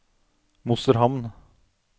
Mosterhamn